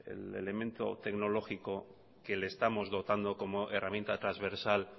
el elemento tecnológico que le estamos dotando como herramienta transversal